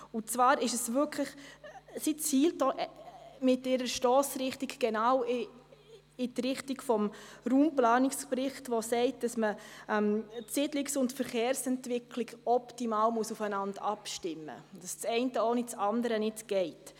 Mit dessen Stossrichtung zielt dieser genau in die Richtung des Raumplanungsberichts, der sagt, dass die Siedlungs- und die Verkehrsentwicklung optimal aufeinander abgestimmt werden müssen, und dass das eine ohne das andere nicht geht.